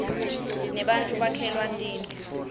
nebattfu bakhelwa tindlu